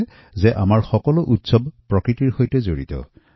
তদুপৰি আমাৰ প্ৰতিটো উৎসৱ প্ৰকৃতি ওপৰত নিৰ্ভৰশীল